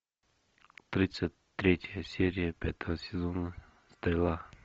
тридцать третья серия пятого сезона стрела